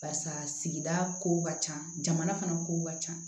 Barisa sigida ko ka ca jamana fana kow ka ca